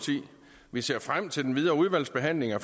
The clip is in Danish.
vi ser frem til den videre udvalgsbehandling af